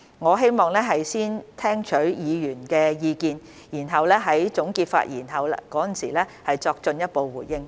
我希望先聽取議員的意見，然後在總結發言時作進一步回應。